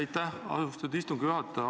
Aitäh, austatud istungi juhataja!